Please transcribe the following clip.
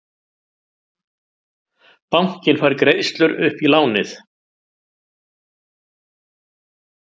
Bankinn fær greiðslur upp í lánið